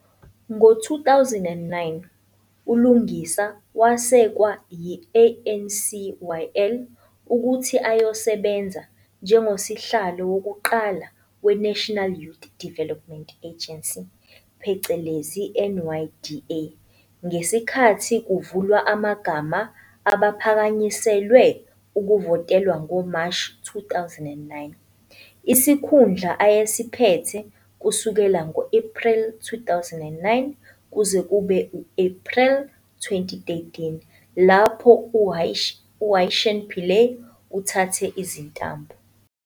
Ngo-2009, uLungisa wesekwa yi-ANCYL ukuthi ayosebenza njengosihlalo wokuqala weNational Youth Development Agency phecelezi NYDA ngesikhathi kuvulwa amagama abaphakanyiselwe ukuvotelwa ngoMashi 2009, isikhundla ayesiphethe kusukela ngo-Ephreli 2009 kuze kube ngu-Ephreli 2013 lapho UYershen Pillay uthathe izintambo.